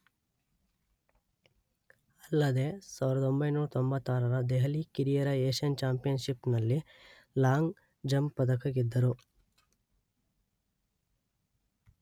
ಅಲ್ಲದೇ ಸಾವಿರದೊಂಬೈನೂರ ತೊಂಬತ್ತಾರರ ದೆಹಲಿ ಕಿರಿಯರ ಏಷ್ಯನ್ ಚಾಂಪಿಯನ್‌ಶಿಪ್‌‌ನಲ್ಲಿ ಲಾಂಗ್ ಜಂಪ್ ಪದಕ ಗೆದ್ದರು